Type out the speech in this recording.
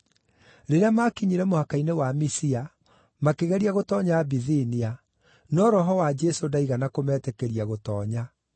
Rĩrĩa maakinyire mũhaka-inĩ wa Misia, makĩgeria gũtoonya Bithinia, no Roho wa Jesũ ndaigana kũmetĩkĩria gũtoonya.